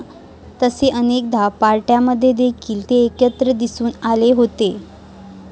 तसेच अनेक पार्ट्यांमध्ये देखील ते एकत्र दिसून आले होते.